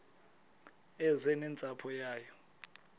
eze nentsapho yayo